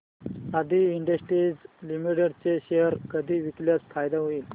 आदी industries limited चे share कधी विकल्यास फायदा होईल